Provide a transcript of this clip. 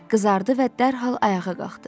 Qızardı və dərhal ayağa qalxdı.